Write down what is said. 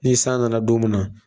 Ni san nana don min na